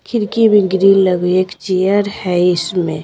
खिड़की में ग्रिल लग एक चेयर है इसमें।